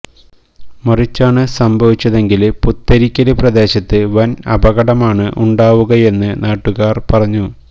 മറിച്ചാണ് സംഭവിച്ചതെങ്കില് പുത്തരിക്കല് പ്രദേശത്ത് വന് അപകടമാണ് ഉണ്ടാവുകയെന്ന് നാട്ടുകാര് പറഞ്ഞു